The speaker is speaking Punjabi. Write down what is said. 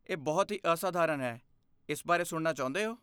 ਇਹ ਬਹੁਤ ਹੀ ਅਸਾਧਾਰਨ ਹੈ, ਇਸ ਬਾਰੇ ਸੁਣਨਾ ਚਾਹੁੰਦੇ ਹੋ?